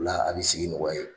O la an bɛ sigi nɔgɔy'a ye